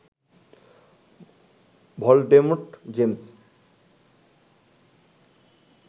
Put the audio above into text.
Voldemort James